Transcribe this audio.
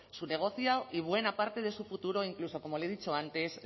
su negocio y buena parte de su futuro e incluso como le he dicho antes